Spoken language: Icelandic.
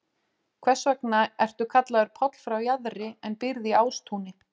Hvers vegna ertu kallaður Páll frá Jaðri en býrð í Ástúni?